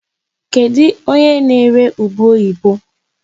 Kedụ onye na-ere ube oyibo?